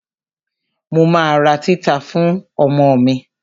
Mo ma ra títà fún ọmọ mi.